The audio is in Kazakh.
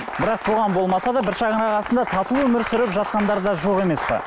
бірақ қоғам болмаса да бір шанырақ астында тату өмір сүріп жатқандар да жоқ емес пе